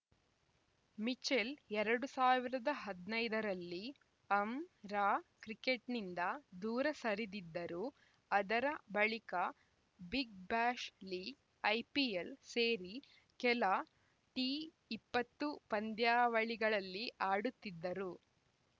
Mitchell ಎರಡ್ ಸಾವಿರದ ಹದಿನೈದ ರಲ್ಲಿ ಅಂರಾ ಕ್ರಿಕೆಟ್‌ನಿಂದ ದೂರ ಸರಿದಿದ್ದರು ಆದರೆ ಬಳಿಕ ಬಿಗ್‌ಬ್ಯಾಶ್‌ ಲೀಗ್‌ ಐಪಿಎಲ್‌ ಸೇರಿ ಕೆಲ ಟಿ ಇಪ್ಪತ್ತು ಪಂದ್ಯಾವಳಿಗಳಲ್ಲಿ ಆಡುತ್ತಿದ್ದರು